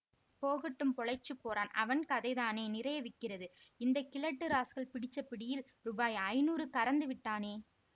போகட்டும் பொழைச்சுப் போறான் அவன் கதைதானே நிறைய விக்கிறது இந்த கிழட்டு ராஸ்கல் பிடிச்ச பிடியில் ரூபாய் ஐநூறு கறந்துவிட்டானே